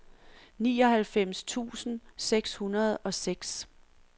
nioghalvfems tusind seks hundrede og seks